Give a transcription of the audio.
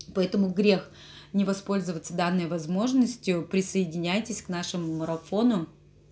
поэтому грех не воспользоваться данной возможностью присоединяйтесь к нашему марафону